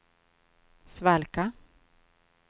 svalka